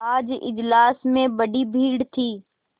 आज इजलास में बड़ी भीड़ थी